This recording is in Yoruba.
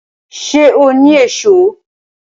Ṣé o ni Èṣó?